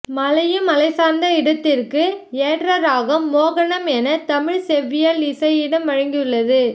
மலையும் மலை சார்ந்த இடத்திற்கு ஏற்ற ராகம் மோகனம் என தமிழ் செவ்வியல் இசை இடம் வழங்கியுள்ளது